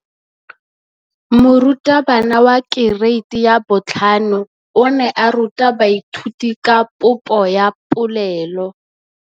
Moratabana wa kereiti ya 5 o ne a ruta baithuti ka popô ya polelô.